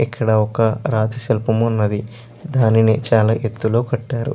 ఇక్కడ ఒక రాతి శిల్పం ఉన్నది. దానిని చాలా ఎత్తులో కట్టారు.